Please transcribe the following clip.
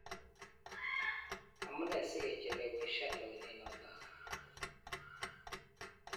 Amu nee sikecheleweshan lewenet notok.